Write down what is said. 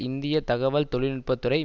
இந்திய தகவல் தொழில்நுட்பத்துறை